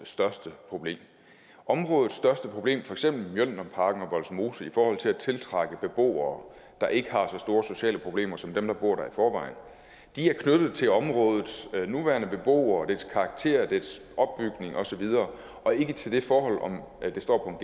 største problem områdets største problem for eksempel mjølnerparken og vollsmose i forhold til at tiltrække beboere der ikke har så store sociale problemer som dem der bor der i forvejen er knyttet til områdets nuværende beboere dets karakter og dets opbygning og så videre og ikke til det forhold om det står